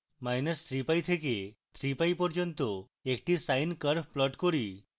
minus 3 pi থেকে 3 pi পর্যন্ত একটি sine curve plot করি